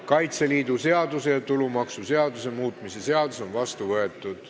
Kaitseliidu seaduse ja tulumaksuseaduse muutmise seadus on vastu võetud.